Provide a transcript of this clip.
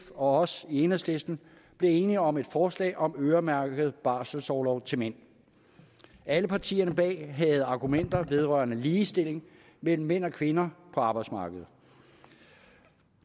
og os i enhedslisten blev enige om et forslag om øremærket barselsorlov til mænd alle partierne bag havde argumenter vedrørende ligestilling mellem mænd og kvinder på arbejdsmarkedet